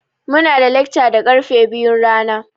Muna da lekca da karfe biyun rana.